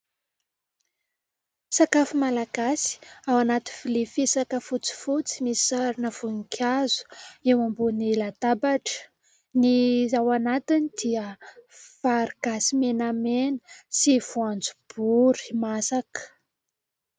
Sakafo malagasy ao anaty vilia fisaka fotsifotsy misy sarina voninkazo eo ambony latabatra, ny ao anatiny dia vary gasy menamena sy voanjobory masaka.